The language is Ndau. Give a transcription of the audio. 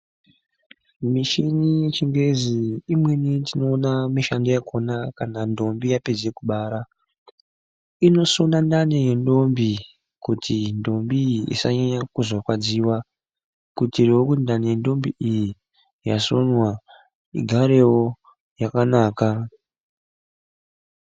Michini yechingezi imweni tinoona mishando yakhona kana nhombi yapedza kubara inosona ndani yendombi kuti ndombi iyi isanyanya kuzorwadziwa kuitirawo kuti ndani yendombi iyi yasonwa igarewo yakanaka.